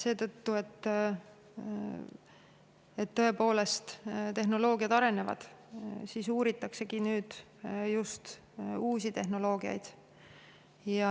Seetõttu et tehnoloogiad tõepoolest arenevad, nüüd uusi tehnoloogiaid just uuritaksegi.